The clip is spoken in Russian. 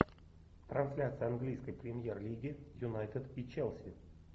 трансляция английской премьер лиги юнайтед и челси